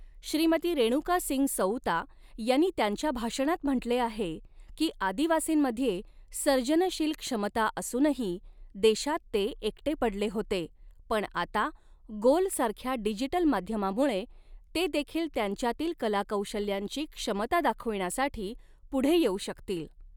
श्रीमती रेणुका सिंग सऊता यांनी त्यांच्या भाषणात म्हटले आहे की आदिवासींमध्ये सर्जनशील क्षमता असूनही देशात ते एकटे पडले होते पण आता, गोल सारख्या डिजिटल माध्यमामुळे, ते देखील त्यांच्यातील कलाकौशल्यांची क्षमता दाखविण्यासाठी पुढे येऊ शकतील.